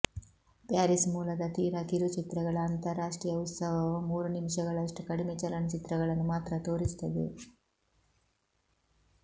Paris ಮೂಲದ ತೀರಾ ಕಿರುಚಿತ್ರಗಳ ಅಂತರರಾಷ್ಟ್ರೀಯ ಉತ್ಸವವು ಮೂರು ನಿಮಿಷಗಳಷ್ಟು ಕಡಿಮೆ ಚಲನಚಿತ್ರಗಳನ್ನು ಮಾತ್ರ ತೋರಿಸುತ್ತದೆ